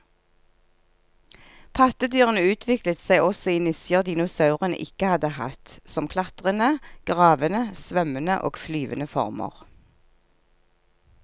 Pattedyrene utviklet seg også i nisjer dinosaurene ikke hadde hatt, som klatrende, gravende, svømmende og flyvende former.